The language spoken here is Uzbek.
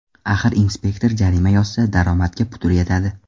Axir inspektor jarima yozsa, daromadga putur yetadi.